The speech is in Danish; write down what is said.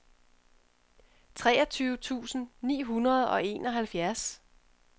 treogtyve tusind ni hundrede og enoghalvfjerds